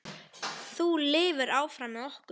Þú lifir áfram með okkur.